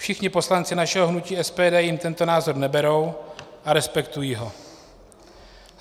Všichni poslanci našeho hnutí SPD jim tento názor neberou a respektují ho.